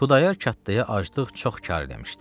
Xudayar kətxaya aclıq çox kar eləmişdi.